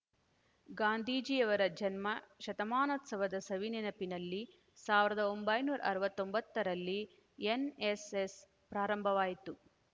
ಗಾಂಧೀಜಿಯವರ ಜನ್ಮ ಶತಮಾನೋತ್ಸವದ ಸವಿ ನೆನಪಿನಲ್ಲಿ ಸಾವಿರದ ಒಂಬೈನೂರ ಅರವತ್ತೊಂಬತ್ತರಲ್ಲಿ ಎನ್‌ಎಸ್‌ಎಸ್ ಪ್ರಾರಂಭವಾಯಿತು